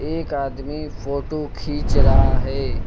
एक आदमी फोटो खींच रहा है।